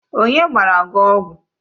Onye gbara gi ọgwụ?